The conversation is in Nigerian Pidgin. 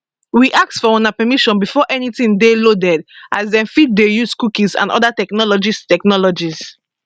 we ask for una permission before anytin dey loaded as dem fit dey use cookies and oda technologies technologies